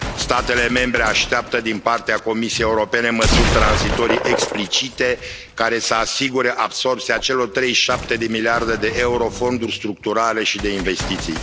Statele membre așteaptă din partea Comisiei Europene măsuri tranzitorii explicite, care să asigure absorbția celor 37 de miliarde de euro din fonduri structurale și de investiții.